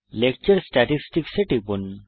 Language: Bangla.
লেকচার স্ট্যাটিসটিকস এ টিপুন